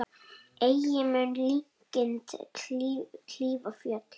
Ei mun linkind klífa fjöll.